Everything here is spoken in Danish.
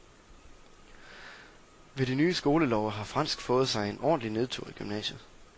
Ved de nye skolelove har fransk fået sig en ordentlig nedtur i gymnasiet.